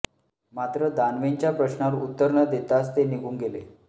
मात्र दानवेंच्या प्रश्नावर उत्तर न देताच ते निघून गेले